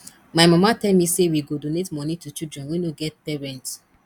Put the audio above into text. my mama tell me say we go donate money to children wey no get parents